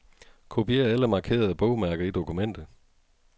Kopier alle markerede bogmærker i dokumentet.